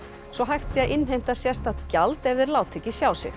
svo hægt sé að innheimta sérstakt gjald ef þeir láta ekki sjá sig